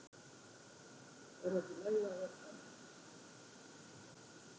Er það ekki í lagi að vera svona?